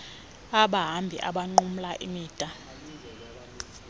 abahambi abanqumla imida